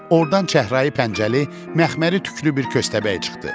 Ordan çəhrai pəncəli, məxməri tükülü bir köstəbək çıxdı.